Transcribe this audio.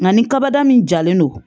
Nka ni kaba min jalen don